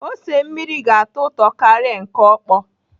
Ose mmiri ka atọ ụtọ karịa nke ọkpọ.